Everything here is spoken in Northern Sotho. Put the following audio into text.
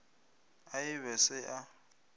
a e be se a